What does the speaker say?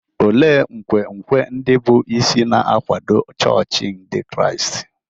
Olee nkwenkwe ndị bụ́ isi na-akwado chọọchị Ndị Kraịst?